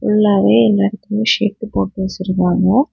ஃபுல்லாவே இதுலருக்கு ஷெட் போட்டு வச்சிருக்காங்க.